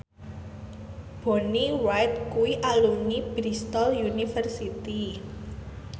Bonnie Wright kuwi alumni Bristol university